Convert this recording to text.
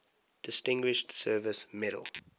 distinguished service medal